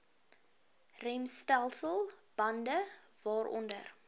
remstelsel bande waaronder